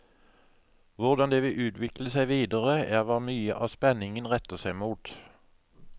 Hvordan det vil utvikle seg videre, er hva mye av spenningen retter seg mot.